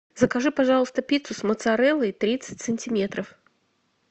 закажи пожалуйста пиццу с моцареллой тридцать сантиметров